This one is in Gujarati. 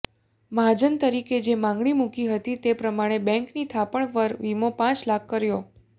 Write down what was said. મહાજન તરીકે જે માંગણી મુકી હતી તે પ્રમાણે બેંકની થાપણ પર વિમો પાંચ લાખ કર્યો